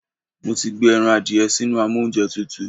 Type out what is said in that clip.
Mo ti gbé ẹran adìẹ sínú amóúnjẹtutù.